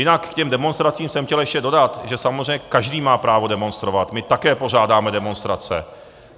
Jinak k těm demonstracím jsem chtěl ještě dodat, že samozřejmě každý má právo demonstrovat, my také pořádáme demonstrace.